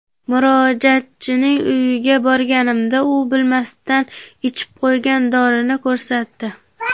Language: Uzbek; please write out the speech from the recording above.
Murojaatchining uyiga borganimda u bilmasdan ichib qo‘ygan dorini ko‘rsatdi.